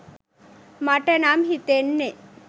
මට නම් හිතෙන්නේ.